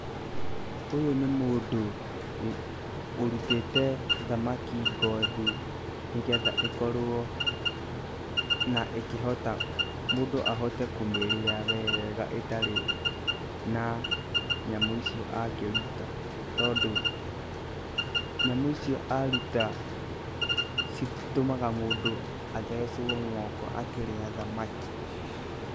Ũyũ nĩ mũndũ ũrutĩte thamaki ngothi nĩgetha ĩkorwo na ĩkĩhota mũndũ ahote kũmĩrĩa wega ĩtarĩ na nyamũ icio akĩruta tondũ nyamũ icio aruta citũmaga mũndũ athecwo moko akĩrĩa thamaki.